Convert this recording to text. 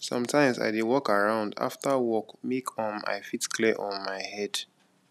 sometimes i dey walk around after work make um i fit clear um my head